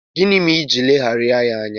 Gịnị mere iji ileghara ya anya?